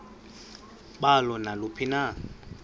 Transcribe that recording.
balo naluphi na